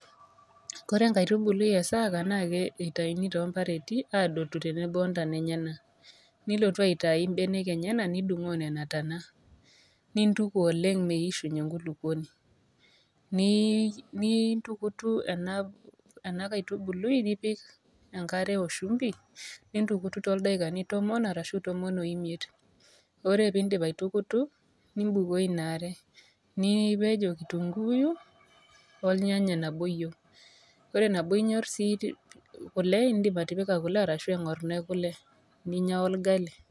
kore enkaitubului e saaka naa eitaini toombareti aadotu tenebo mbenek enyena. Nilotu aitai imbenek enyena nidung'oo nena tana, nintuku oleng meishunye enkulukuoni. Nintukutu ena kaitubului nipik enkare o shumpi nintukutu toldaikani tomon arashu tomon o imiet, ore piindip aitukutu, nimbukoo ina are, nipej o kitunguyu olnyanya naboiyeu ore nabo inyor sii kule, indim atipika kule arashu eng'orno e kule ninya olgali.